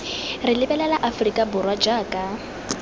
re lebelela aforika borwa jaaka